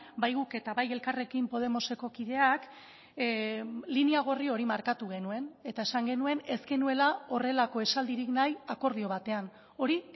bai guk eta bai elkarrekin podemoseko kideak linea gorri hori markatu genuen eta esan genuen ez genuela horrelako esaldirik nahi akordio batean hori